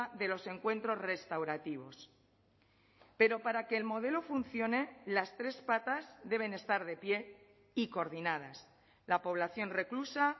de los encuentros restaurativos pero para que el modelo funcione las tres patas deben estar de pie y coordinadas la población reclusa